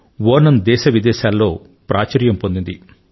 ఓణమ్ దేశ విదేశాల్లో ప్రాచుర్యం పొందింది